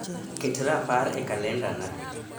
ket rapar e kalendana